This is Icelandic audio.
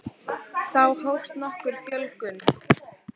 þá hófst nokkur fjölgun